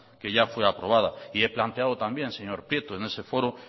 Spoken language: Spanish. que ya fue aprobada y he planteado también en ese foro